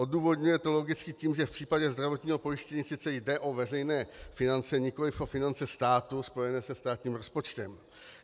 Odůvodňuje to logicky tím, že v případě zdravotního pojištění sice jde o veřejné finance, nikoliv o finance státu spojené se státním rozpočtem.